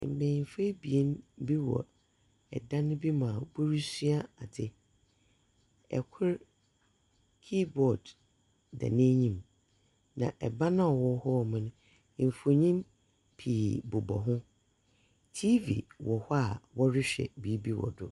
Mbanyinfo ebien bi wɔ ɛdan bi mu aa wɔresua adze. Ɛkor kiibɔd da n'anyim, na ɛban aa ɔwɔ hɔɔmo no mfonyin pii bobɔ ho. TV wɔ hɔ aa wɔrehwɛ biibi wɔ do.